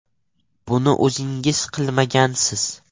Buni o‘zingiz qilmagansiz.